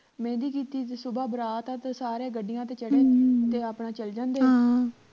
ਮਹਿੰਦੀ ਕੀਤੀ ਤੇ ਸੁਬਹ ਬਰਾਤ ਆ ਤੇ ਸਾਰੇ ਗੱਡੀਆਂ ਤੇ ਚੜ ਤੇ ਆਪਣਾਂ ਚੱਲ ਜਾਂਦੇ ਆ